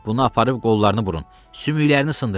Bunu aparıb qollarını burun, sümüklərini sındırın.